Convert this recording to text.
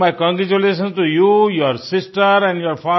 so my congratulations to you your sister and your